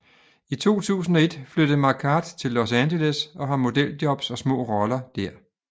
I 2001 flyttede Marquardt til Los Angeles og har modeljobs og små roller